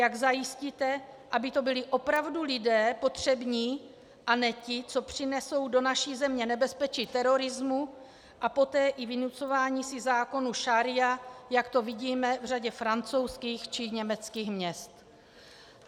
Jak zajistíte, aby to byli opravdu lidé potřební a ne ti, co přinesou do naší země nebezpečí terorismu a poté i vynucování si zákonu šaría, jak to vidíme v řadě francouzských či německých měst.